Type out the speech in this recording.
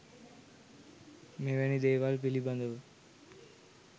මෙවැනි දේවල් පිළිබඳව